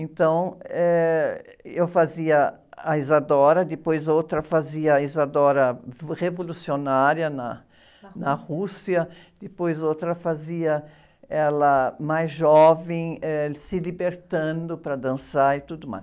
Então, eh, eu fazia a Isadora, depois outra fazia a Isadora revolucionária na, na Rússia, depois outra fazia ela mais jovem, eh, se libertando para dançar e tudo mais.